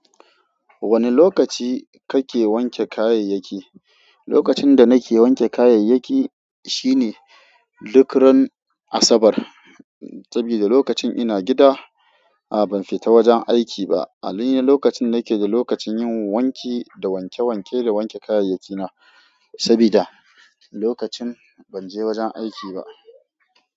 Wane lokaci kake wanke kayayyaki? Lokacin da nake wanke kayayyaki shine duk ran Asabar, sabida lokacin ina gida. A'a ban fita wajen aiki ba. Ali na lokacin nake da lokacin yin wanki da wanke wanke da wanke kayayyaki na sabida lokacin ban je wajen aiki ba.